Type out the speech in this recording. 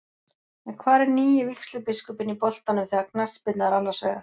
En hvar er nýi vígslubiskupinn í boltanum þegar knattspyrna er annars vegar?